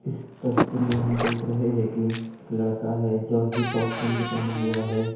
इस तस्वीर मे हम देख रहे है के एक लड़का हे जोकि पॉप गंजी पेहने हुआ है।